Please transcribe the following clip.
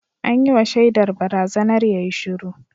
An yi wa shaidar barazanar yayi shiru